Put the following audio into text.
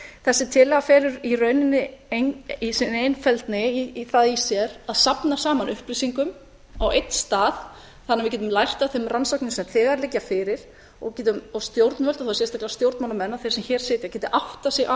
þessi tillaga felur í rauninni í sinni einfeldni það í sér að safna saman upplýsingum á einn stað þannig að við getum lært af þeim rannsóknum sem þegar liggja fyrir og stjórnvöld og þá sérstaklega stjórnmálamenn og þeir sem hér sitja geti áttað sig á